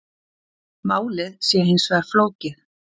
Málið sé hins vegar flókið